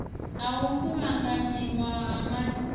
ha u kuvhanganyiwa ha matheriala